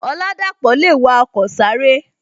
Oladapo le wa ọkọ sáré